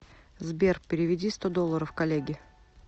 сбер переведи сто долларов коллеге